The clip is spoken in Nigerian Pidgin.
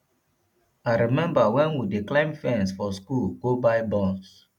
i remember wen we dey climb fence for school go buy buns